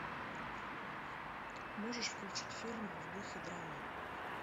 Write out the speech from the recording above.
можешь включить фильм в духе драмы